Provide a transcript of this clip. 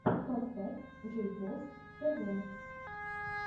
поставь джейпос тв